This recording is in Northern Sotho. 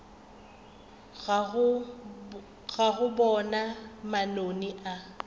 ka go boga manoni a